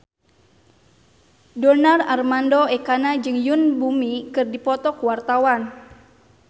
Donar Armando Ekana jeung Yoon Bomi keur dipoto ku wartawan